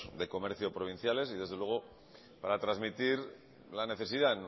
de comercio provinciales y desde luego para trasmitir la necesidad